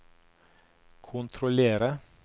kontrollere